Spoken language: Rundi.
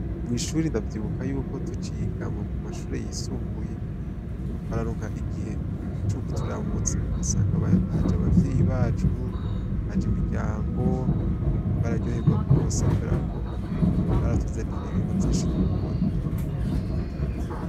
Mw'ishuri ndavyibuka tuciga mumashure yisumbuye, twararonka igihe co kuturamutsa, ugasanga haj'abavyeyi bacu, haj'imiryango, twararyoherwa gose kubera ko baratuzanira ibintu vyinshi dukunda.